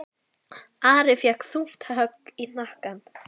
Ari fékk þungt högg í hnakkann.